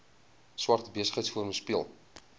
swart besigheidsforum speel